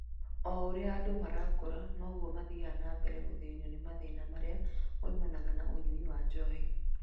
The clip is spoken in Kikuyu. O ũrĩa andũ marakũra , noguo mathiaga nambere na gũthĩnio nĩ mathĩna marĩa moimanaga na ũnyui wa njohi